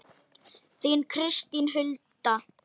Þín Kristín Hulda.